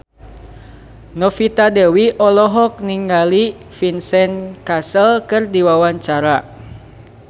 Novita Dewi olohok ningali Vincent Cassel keur diwawancara